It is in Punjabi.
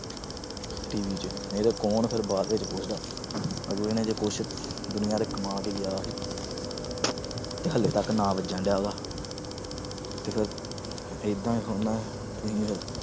TV 'ਚ ਕੌਣ ਫਿਰ ਬਾਅਦ ਦੇ ਵਿੱਚ ਪੁੱਛਦਾ ਅਗਲੇ ਨੇ ਜੇ ਕੁਛ ਦੁਨੀਆਂ ਤੇ ਕਮਾ ਕੇ ਗਿਆ ਸੀ ਤੇ ਹਾਲੇ ਤੱਕ ਨਾਂ ਵੱਜਣ ਡਿਆ ਉਹਦਾ ਤੇ ਫਿਰ ਏਦਾਂ ਹੀ ਥੋੜ੍ਹਾ ਨਾ ਹੈ